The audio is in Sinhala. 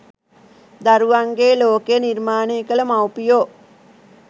දරුවන්ගේ ලෝකය නිර්මාණය කළ මව්පියෝ